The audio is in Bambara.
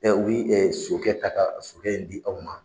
Mɛ u bi ɛ sokɛ in ta ka sokɛ in di aw ma